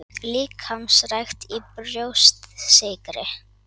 Líkamsrækt í Brjóstsykri